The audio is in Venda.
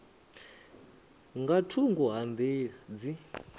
nga thungo ha nḓila dzi